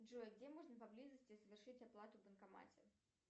джой где можно поблизости совершить оплату в банкомате